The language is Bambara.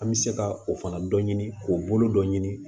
An bɛ se ka o fana dɔ ɲini k'o bolo dɔ ɲini